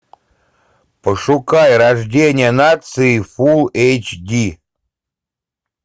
пошукай рождение нации фулл эйч ди